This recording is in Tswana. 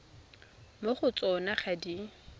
mo go tsona ga di